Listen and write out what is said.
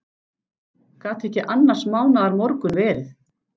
Gat ekki annars mánaðar morgunn verið.